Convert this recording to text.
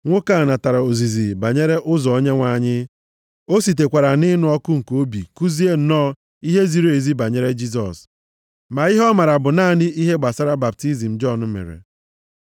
Nwoke a natara ozizi banyere ụzọ Onyenwe anyị. O sitekwara nʼịnụ ọkụ nke obi kuzie nnọọ ihe ziri ezi banyere Jisọs. Ma ihe ọ maara bụ naanị ihe gbasara baptizim Jọn mere.